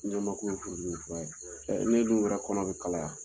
bele beleba ye n'o dun kɛra kɔnɔ bɛ kalaya.